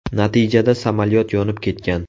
Natijada samolyot yonib ketgan.